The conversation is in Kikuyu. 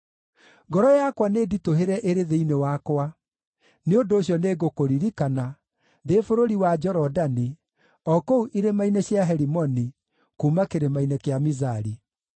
Ngoro yakwa nĩnditũhĩre ĩrĩ thĩinĩ wakwa; nĩ ũndũ ũcio nĩngũkũririkana ndĩ bũrũri wa Jorodani, o kũu irĩma-inĩ cia Herimoni, kuuma Kĩrĩma-inĩ kĩa Mizari.